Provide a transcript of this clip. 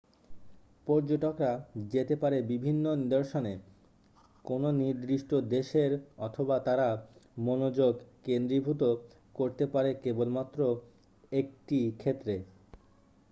পর্যটকরা যেতে পারে বিভিন্ন নিদর্শনে কোন নির্দিষ্ট দেশের অথবা তারা মনোযোগ কেন্দ্রীভূত করতে পারে কেবলমাত্র 1টি ক্ষেত্রে